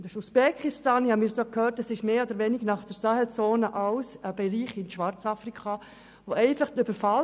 Es geht um Personen aus Usbekistan und – wie ich gehört habe – ebenfalls um Personen praktisch aller Nationalitäten aus Schwarzafrika nach der Sahelzone.